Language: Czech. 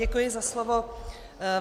Děkuji za slovo.